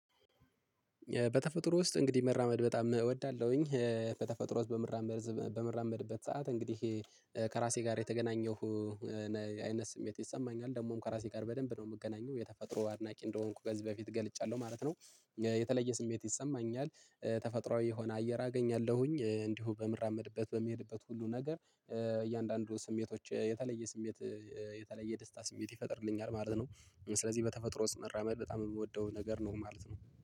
በተፈጥሮ ውስጥ እንግዲህ መራመድ በጣም እወዳለሁኝ በተፈጥሮ ውስጥ በመራመድ በምራመድበት ሰዓት እንግዲህ ከራሴ ጋር የተገናኘሁ አይነት ስሜት ይሰማኛል። ደግሞም ከራሴ ጋር በደንብ ነው የምገናኘው። የተፈጥሮ አድናቂ እንደሆንኩ በዚህ በፊት ገልጫለሁ ማለት ነው። የተለየ ስሜት ይሰማኛል ተፈጥሮአዊ የሆነ አየር አገኛለሁኝ። እንዲሁ በምራመድበት በሚሄድበት ሁሉ ነገር እያንዳንዱ ስሜቶች የተለየ ስሜት። የተለየ ደስታ ስሜት ይፈጥርልኛል ማለት ነው። ስለዚህ በተፈጥሮ ውስጥ መራመድ በጣም የምወደው ነገር ነው ማለት ነው